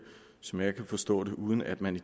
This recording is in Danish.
som jeg kan forstå det uden at man